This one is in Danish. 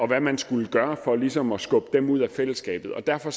hvad man skulle gøre for ligesom at skubbe dem ud af fællesskabet og derfor